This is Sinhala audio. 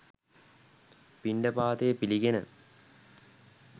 පිණ්ඩපාතය පිළිගෙන,